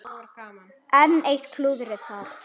Enn eitt klúðrið þar!